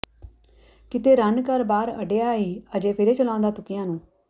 ਕਿਤੇ ਰੰਨ ਘਰ ਬਾਰ ਅੱਡਿਆ ਈ ਅਜੇ ਫਿਰੇਂ ਚਲਾਂਉਂਦਾ ਤੁੱਕਿਆਂ ਨੂੰ